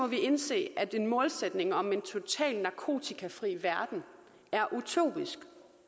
vi indse at en målsætning om en total narkotikafri verden er utopisk